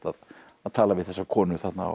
að tala við þessa konu þarna á